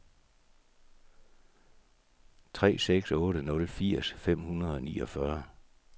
tre seks otte nul firs fem hundrede og niogfyrre